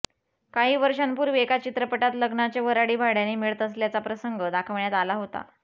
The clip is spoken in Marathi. काही वर्षांपूर्वी एका चित्रपटात लग्नाचे वऱ्हाडी भाड्याने मिळत असल्याचा प्रसंग दाखवण्यात आला होता